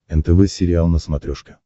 нтв сериал на смотрешке